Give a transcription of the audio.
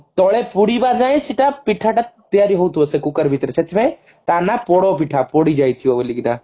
ତଳେ ପୁଡିବା ଯାଏଁ ସେଟା ପିଠା ଟା ତିଆରି ହେଉଥିବ ସେ cooker ଭିତରେ ସେଥିପାଇଁ ତାନାଁ ପୋଡପିଠା ପୋଡିଯାଇଥିବ ବୋଲିକି ନା